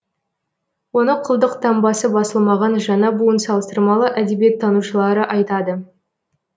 оны құлдық таңбасы басылмаған жаңа буын салыстырмалы әдебиеттанушылары айтады